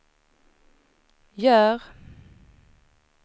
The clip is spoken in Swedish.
gör